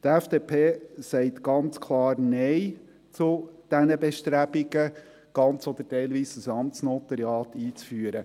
– Die FDP sagt ganz klar Nein zu den Bestrebungen, ganz oder teilweise ein Amtsnotariat einzuführen.